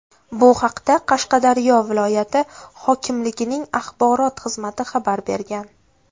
Bu haqda Qashqadaryo viloyati hokimligining axborot xizmati xabar bergan .